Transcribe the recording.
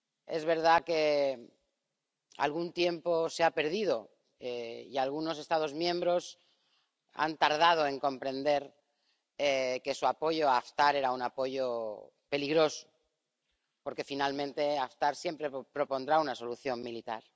Es verdad que algún tiempo se ha perdido y algunos Estados miembros han tardado en comprender que su apoyo a Haftar era un apoyo peligroso, porque finalmente Haftar siempre propondrá una solución militar.